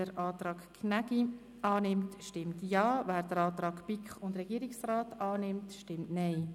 Wer den Antrag Gnägi annimmt stimmt Ja, wer den Antrag BiK und Regierungsrat annimmt, stimmt Nein.